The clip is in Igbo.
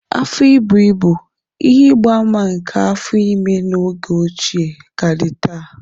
Afọ íbù íbú, ihe ịgba ama nke afọ ime n'oge ochie, ka dị taa.